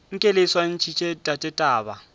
nke le swantšhetše tate taba